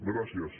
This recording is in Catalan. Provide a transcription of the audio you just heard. gràcies